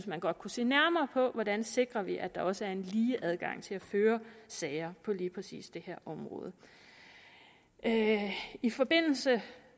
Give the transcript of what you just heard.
man godt kunne se nærmere på hvordan sikrer vi at der også er en lige adgang til at føre sager på lige præcis det her område i forbindelse